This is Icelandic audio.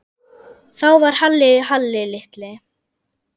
Þá var Halli Halli litli.